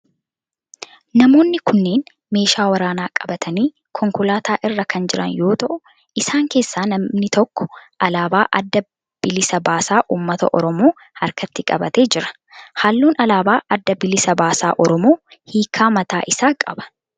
Namoonni kunneen meeshaa waraanaa qabatanii konkolaataa irra kan jiran yoo ta'u isaan keessaa namni tokko alaabaa adda bilisa baasaa ummata oromoo harkatti qabatee jira. Halluun alaabaa adda bilisa baasaa oromoo hiika mataa isaa qaba.